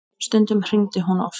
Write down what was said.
Stundum hringdi hún oft.